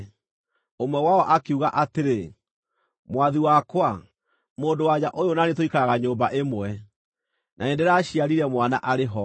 Ũmwe wao akiuga atĩrĩ, “Mwathi wakwa, mũndũ-wa-nja ũyũ na niĩ tũikaraga nyũmba ĩmwe. Na nĩndĩraciarire mwana arĩ ho.